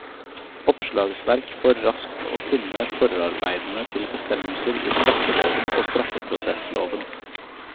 Oppslagsverk for raskt å finne forarbeidene til bestemmelser i straffeloven og straffeprosessloven.